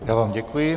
Já vám děkuji.